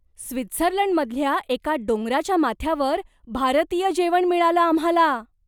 स्वित्झर्लंडमधल्या एका डोंगराच्या माथ्यावर भारतीय जेवण मिळालं आम्हाला!